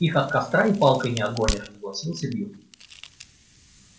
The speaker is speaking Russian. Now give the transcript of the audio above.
их от костра и палкой не отгонишь согласился билл